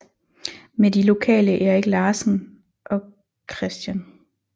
Med de lokale Erik Larsen og Chr